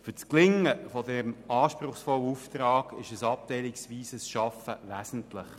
Für das Gelingen dieses anspruchsvollen Auftrags ist ein abteilungsweises Arbeiten wesentlich.